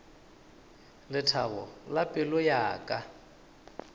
lethabo la pelo ya ka